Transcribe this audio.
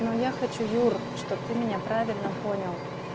ну я хочу юра чтобы ты меня правильно понял